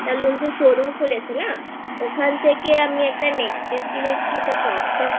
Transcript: Showroomখুলেছে না ওখান থেকে আমি একটা Neck piece কিনেছি এটাCrop topকিনেছি